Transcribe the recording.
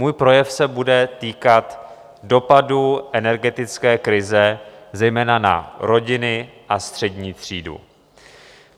Můj projev se bude týkat dopadu energetické krize zejména na rodiny a střední třídu.